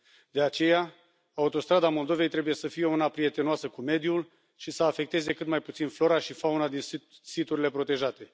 De aceea, autostrada Moldovei trebuie să fie una prietenoasă cu mediul și să afecteze cât mai puțin flora și fauna din siturile protejate.